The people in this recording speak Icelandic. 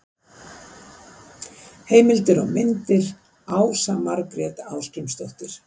Heimildir og myndir: Ása Margrét Ásgrímsdóttir.